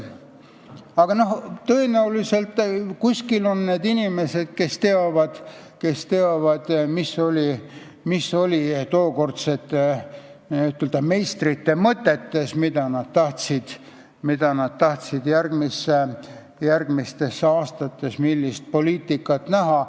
Aga tõenäoliselt on kuskil inimesed, kes teavad, mis oli tookordsete n-ö meistrite mõtetes ja millist poliitikat nad tahtsid järgmistel aastatel näha.